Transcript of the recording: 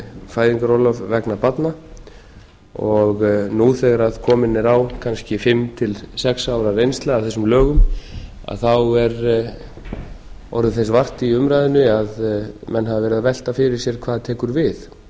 fæðingarorlof vegna barna nú þegar komin er á kannski fimm til sex ára reynsla af þessum lögum þá hefur þess orðið vart í umræðunni menn hafa verið að velta fyrir sér hvað tekur við